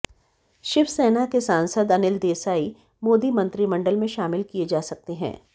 शिवसेना के सांसद अनिल देसाई मोदी मंत्रिमंडल में शामिल किए जा सकते हैं